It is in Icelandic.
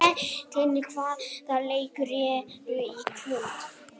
Benidikta, hvaða leikir eru í kvöld?